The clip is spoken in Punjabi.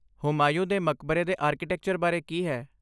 ਹੁਮਾਯੂੰ ਦੇ ਮਕਬਰੇ ਦੇ ਆਰਕੀਟੈਕਚਰ ਬਾਰੇ ਕੀ ਹੈ?